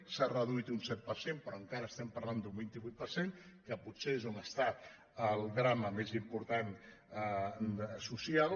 s’ha reduït un set per cent però encara estem par·lant d’un vint vuit per cent que potser és on està el drama més important social